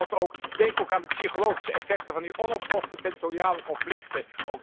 En ten slotte, denk ook aan de psychologische effecten van die onopgeloste territoriale conflicten.